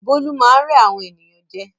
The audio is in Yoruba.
Bólú máá ń rẹ́ àwọn ènìyàn jẹ